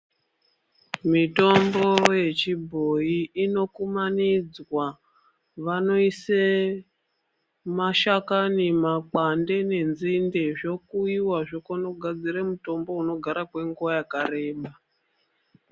Mitombo yechi bhoyi ino kumanidzwa vano ise mashakani , makwande ne nzinde zvo kuyiwa zvokone mugadzire mitombo ino gara kwe nguva yakareba.